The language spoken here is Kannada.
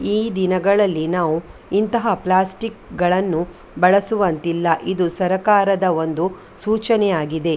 ಈ ದಿನಗಳಲ್ಲಿ ನಾವು ಇಂತಹ ಪ್ಲಾಸ್ಟಿಕ್‌ಗಳನ್ನು ಬಳಸುವಂತಿಲ್ಲ. ಇದು ಸರಕಾರದ ಒಂದು ಸೂಚನೆಯಾಗಿದೆ.